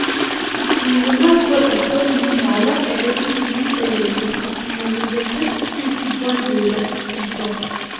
Dyrene får også minimale eller ingen bevegelsesmuligheter utenfor buret. punktum